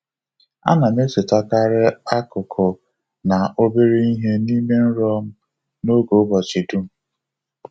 A na m echetakarị akụkụ na obere ihe n’ime nrọ m n’oge ụbọchị dum.